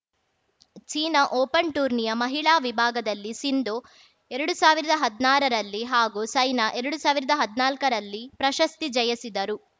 China open ಟೂರ್ನಿಯ ಮಹಿಳಾ ವಿಭಾಗದಲ್ಲಿ ಸಿಂಧು ಎರಡು ಸಾವಿರದಾ ಹದ್ನಾರರಲ್ಲಿ ಹಾಗೂ ಸೈನಾ ಎರಡು ಸಾವಿರದಾ ಹದ್ನಾಲ್ಕ ರಲ್ಲಿ ಪ್ರಶಸ್ತಿ ಜಯಿಸಿದ್ದರು